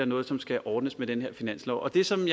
noget som skal ordnes med den her finanslov det som